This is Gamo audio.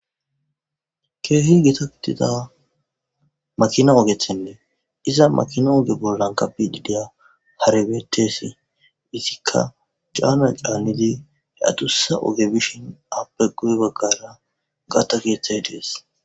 keehi geta gitida makina ogethenne iza makina oge bollan kabi dideya harebetesi isikka caana caanidi he atussa oge bishin appe guye baggara gaatta keeththay dees